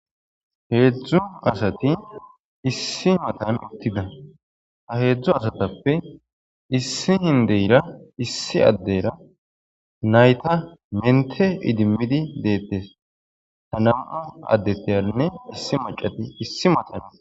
heedzdzu asati issi matan uttida a heedzdzu asatappe issi hindeyra issi addeyra nayta mente idimmidi deettes ta nam7u addetteyarinne issi macati issi matana